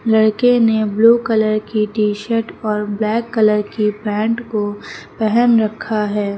लड़के ने blue colour की टी शर्ट और ब्लैक कलर की पैंट को पेहन रखा है।